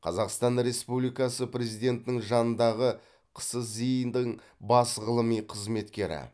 қазақстан республикасы президентінің жанындағы қсзи дың бас ғылыми қызметкері